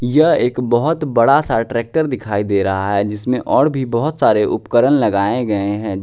यह एक बहुत बड़ा सा ट्रैक्टर दिखाई दे रहा है जिसमें और भी बहुत सारे उपकरण लगाए गए हैं।